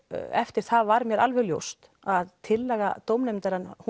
eftir það var mér alveg ljóst að tillaga dómnefndarinnar